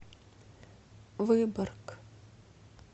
выборг